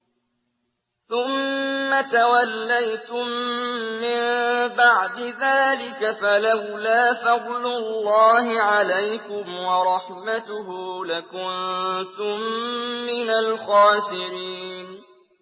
ثُمَّ تَوَلَّيْتُم مِّن بَعْدِ ذَٰلِكَ ۖ فَلَوْلَا فَضْلُ اللَّهِ عَلَيْكُمْ وَرَحْمَتُهُ لَكُنتُم مِّنَ الْخَاسِرِينَ